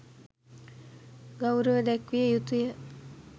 ගෞරව දැක්විය යුතු ය.